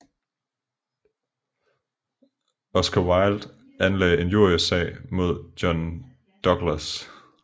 Oscar Wilde anlagde injriesag mod John Douglas